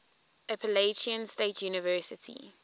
appalachian state university